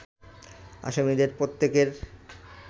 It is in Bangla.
আসামিদের প্রত্যেকের